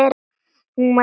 Hún var leið.